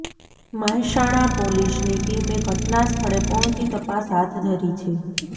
મહેસાણા પોલીસની ટીમે ઘટનાસ્થળે પહોંચી તપાસ હાથ ધરી છે